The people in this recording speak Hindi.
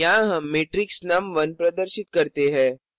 यहाँ हम matrix num1 प्रदर्शित करते हैं